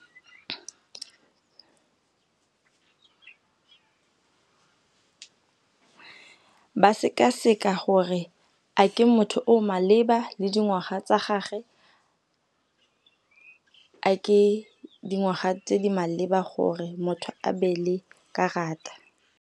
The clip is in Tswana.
Ba sekaseka gore a ke motho o o maleba le dingwaga tsa gage, a ke dingwaga tse di maleba gore motho a be le karata.